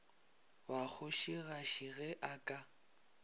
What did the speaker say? ba kgošigadi ge a ka